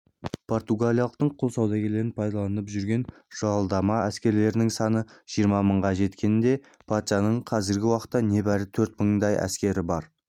португалиялықтың құл саудагерлері пайдаланып жүрген жалдама әскерлерінің саны жиырма мыңға жеткенде патшаның қазіргі уақытта небәрі төрт мыңдай-ақ әскері